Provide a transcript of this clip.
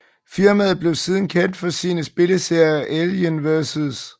Firmaet blev siden kendt for sine spilserier Alien vs